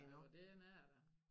Jo der henne er jeg da